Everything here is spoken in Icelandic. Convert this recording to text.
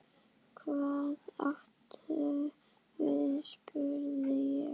Hvað áttu við spurði ég.